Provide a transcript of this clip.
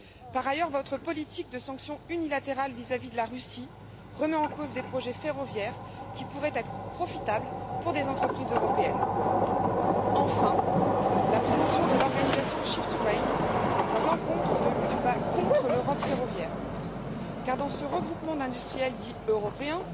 Par ailleurs, votre politique de sanctions unilatérales vis à vis de la Russie remet en cause des projets ferroviaires qui pourraient être profitables à des entreprises européennes. Enfin, la promotion de l'organisation Shift 2 Rail dans cette motion va contre l'Europe ferroviaire, car dans ce regroupement d'industriels dits européens,